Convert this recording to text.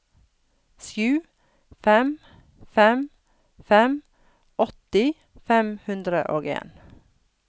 sju fem fem fem åtti fem hundre og en